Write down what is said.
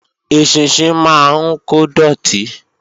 Eṣinṣin máa ń kó dọ̀tí